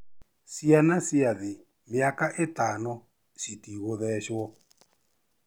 Ciana cia thĩ mĩaka ĩtano citigũthecwo